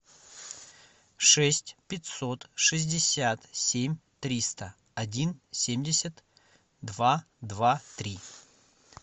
шесть пятьсот шестьдесят семь триста один семьдесят два два три